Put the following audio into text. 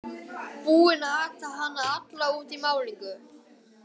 Búinn að ata hana alla út í málningu!